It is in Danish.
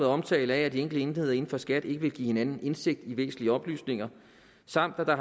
omtale af at de enkelte enheder inden for skat ikke vil give hinanden indsigt i væsentlige oplysninger samt at